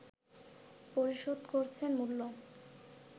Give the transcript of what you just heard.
পরিশোধ করছেন মূল্য